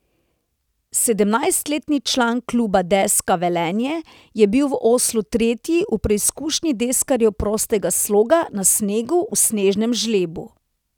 Sedemnajstletni član kluba Deska Velenje je bil v Oslu tretji v preizkušnji deskarjev prostega sloga na snegu v snežnem žlebu.